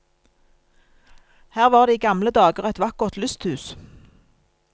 Her var det i gamle dager et vakkert lysthus.